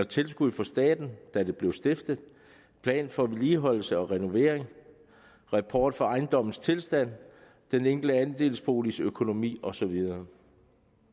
tilskud fra staten da de blev stiftet plan for vedligeholdelse og renovering rapport om ejendommens tilstand den enkelte andelsboligs økonomi og så videre